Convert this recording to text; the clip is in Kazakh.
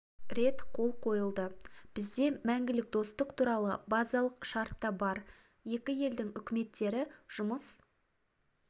рет қол қойылады бізде мәңгілік достық туралы базалық шарт та бар екі елдің үкіметтері жұмыс